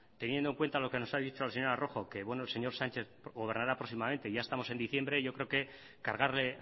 teniendo en cuenta lo que nos ha dicho la señora rojo que bueno el señor sánchez obrará próximamente ya estamos en diciembre yo creo que cargarle